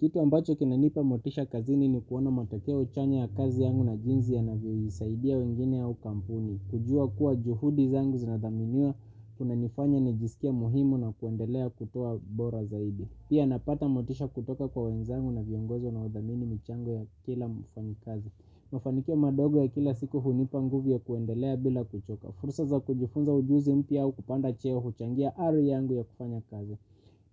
Kitu ambacho kinanipa motisha kazini ni kuona matakeo chanya ya kazi yangu na jinzi ya navyo yisaidia wengine au kampuni. Kujua kuwa juhudi zangu zinadhaminiwa kuna nifanya ni jisikie muhimu na kuendelea kutoa bora zaidi. Pia napata motisha kutoka kwa wenzangu na viongozi wanaodhamini michango ya kila mufanikazi. Mufanikio madogo ya kila siku hunipa nguvi ya kuendelea bila kuchoka. Fursa za kujifunza ujuzi mpya au kupanda cheo huchangia ari yangu ya kufanya kazi